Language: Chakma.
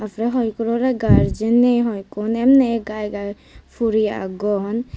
er porey hoi ekkunor oley gardian ney hoi ekku emney gai gai puri agon.